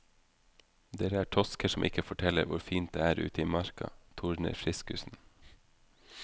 Dere er tosker som ikke forteller hvor fint det er ute i marka, tordner friskusen.